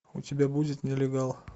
у тебя будет нелегал